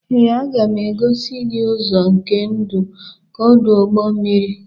Ee, m ga-egosi gị ụzọ nke ọdụ ụgbọ mmiri.